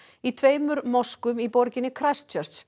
í tveimur moskum í borginni